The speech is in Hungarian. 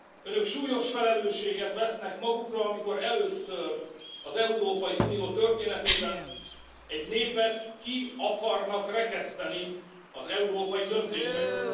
Önök súlyos felelősséget vesznek magukra, amikor először az Európai Unió történetében egy népet ki akarnak rekeszteni az európai döntésekből.